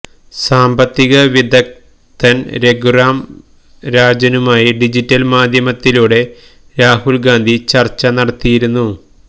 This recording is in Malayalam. സാമ്പത്തികവിദഗ്ധന് രഘുറാം രാജനുമായി ഡിജിറ്റല് മാധ്യമത്തിലൂടെ രാഹുല് ഗാന്ധി ചര്ച്ച നടത്തിയിരുന്നു